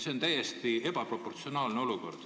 See on täiesti ebaproportsionaalne olukord.